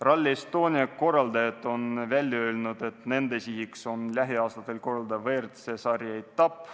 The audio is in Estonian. Rally Estonia korraldajad on välja öelnud, et nende sihiks on lähiaastatel korraldada WRC sarja etapp.